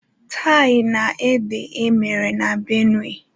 tie-na-ede e mere na Benue